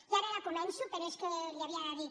i ara ja començo però és que li ho havia de dir